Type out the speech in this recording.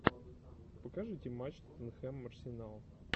покажите матч тоттенхэм арсенал